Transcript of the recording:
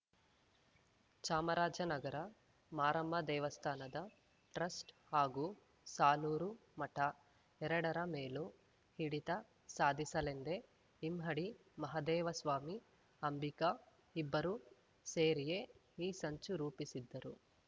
ಚಾಮರಾಜನಗರ ಮಾರಮ್ಮ ದೇವಸ್ಥಾನದ ಟ್ರಸ್ಟ್ ಹಾಗೂ ಸಾಲೂರು ಮಠ ಎರಡರ ಮೇಲೂ ಹಿಡಿತ ಸಾಧಿಸಲೆಂದೇ ಇಮ್ಮಡಿ ಮಹದೇವಸ್ವಾಮಿ ಅಂಬಿಕಾ ಇಬ್ಬರೂ ಸೇರಿಯೇ ಈ ಸಂಚು ರೂಪಿಸಿದ್ದರು